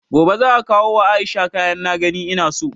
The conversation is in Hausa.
Gobe za'a kawo wa Aisha kayan na gani ina so